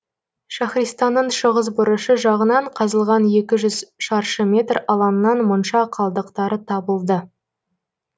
шахристанның шығыс бұрышы жағынан қазылған екі үжүз шаршы метр алаңнан монша қалдықтары табылды